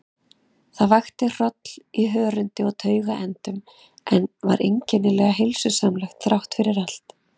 Það vakti hroll í hörundi og taugaendum, en var einkennilega heilsusamlegt þráttfyrir allt.